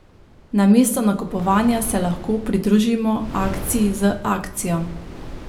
Namesto nakupovanja se lahko pridružimo akciji z akcijo.